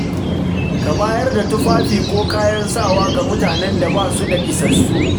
Ka bayar da tufafi ko kayan sawa ga mutanen da ba su da isassu.